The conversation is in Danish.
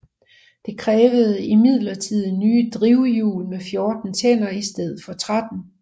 Det krævede imidlertid nye drivhjul med 14 tænder i stedet for 13